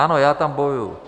Ano, já tam bojuji.